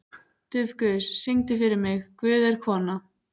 Dufgus, syngdu fyrir mig „Guð er kona“.